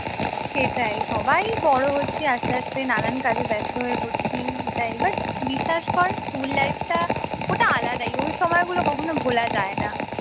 সেটাই সবাই বড় হচ্ছি আস্তে আস্তে নানান কাজে ব্যস্ত হচ্ছি এটাই but বিশ্বাস কর স্কুল life টা ওটা আলাদাই ওই সময়গুলো কখনো ভোলা যায় না